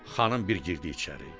Xanım bir girdi içəri.